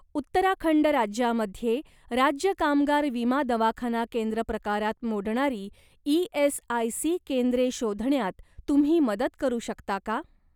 उत्तराखंड राज्यामध्ये राज्य कामगार विमा दवाखाना केंद्र प्रकारात मोडणारी ई.एस.आय.सी. केंद्रे शोधण्यात तुम्ही मदत करू शकता का?